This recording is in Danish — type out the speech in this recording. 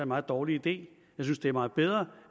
meget dårlig idé jeg synes det er meget bedre